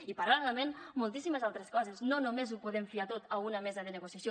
i paral·lelament moltíssimes altres coses no només ho podem fiar tot a una mesa de negociació